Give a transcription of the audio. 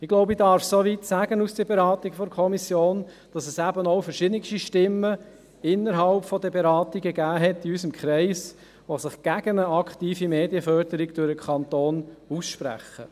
Ich glaube, ich darf soweit aus der Beratung der Kommission sagen, dass es in unserem Kreis bei den Beratungen verschiedenste Stimmen gab, die sich gegen eine aktive Medienförderung durch den Kanton aussprachen.